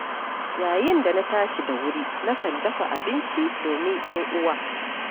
Yayin da na tashi da wuri, na kan dafa abinci domin 'yan'uwa.